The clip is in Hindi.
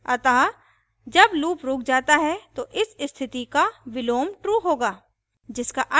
अतः जब loop रुक जाता है तो इस स्थिति का विलोम true होगा